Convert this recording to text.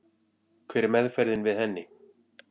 Hver er meðferðin við henni?